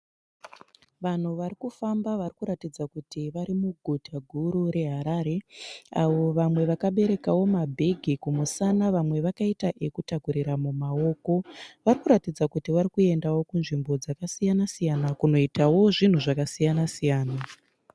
Vanhu vari kufamba vari kuratidza kuti vari muguta guru reHarare avo vamwe vakaberekawo mabhegi kumusana vamwe vakaita ekutakurira mumaoko. Vari kuratidza kuti vari kuendawo kunzvimbo dzakasiyana siyana kunoitawo zvinhu zvakasiyana siyana.